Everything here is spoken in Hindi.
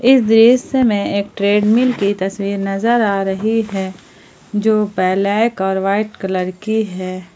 इस दृश्य में एक ट्रेडमिल की तस्वीर नजर आ रही है जो ब्लैक और वाइट कलर की है।